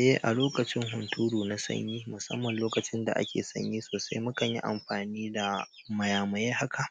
Eh, a lokacin hunturu na sanyi, musamman lokacin da ake sanyi sosai, muka yi amfani da mayamayen haka.